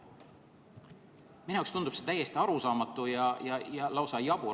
" Minu jaoks tundub see täiesti arusaamatu ja lausa jabur.